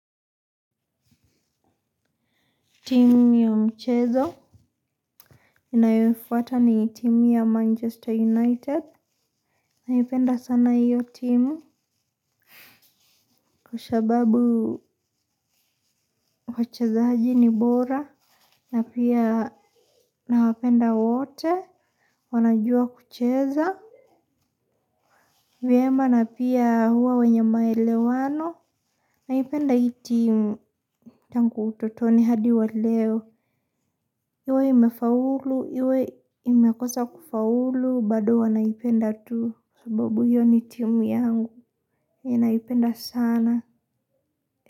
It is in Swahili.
Timu hiyo mchezo. Ninayofuata ni timu ya Manchester United. Naipenda sana iyo timu. Kwa sababu wachezaji ni bora. Na pia na wapenda wote. Wanajua kucheza. Vyema na pia hua wenye maelewano. Naipenda hii timu. Tangu utotoni hadi wa leo. Iwe imefaulu. Iwe imekosa kufaulu. Bado huwa naipenda tu. Sababu hiyo ni tiumiangu ninaipenda sana.